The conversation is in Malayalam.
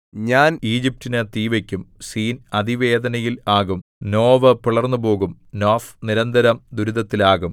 ഞാൻ ഈജിപ്റ്റിനു തീ വയ്ക്കും സീൻ അതിവേദനയിൽ ആകും നോവ് പിളർന്നുപോകും നോഫ് നിരന്തരം ദുരിതത്തിലാകും